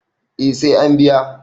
eh sai an biya